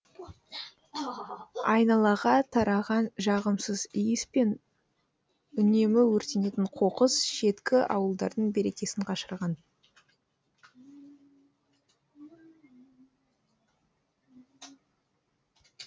айналаға тараған жағымсыз иіс пен үнемі өртенетін қоқыс шеткі ауылдардың берекесін қашырған